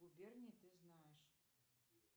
губернии ты знаешь